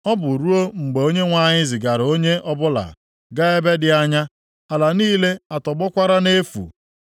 Ọ bụ ruo mgbe Onyenwe anyị zigara onye ọbụla gaa ebe dị anya, ala niile atọgbọkwara nʼefu.